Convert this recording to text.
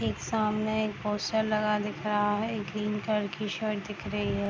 एक सामने एक पोस्टर लगा दिख रहा है एक ग्रीन कलर की शर्ट दिख रही है।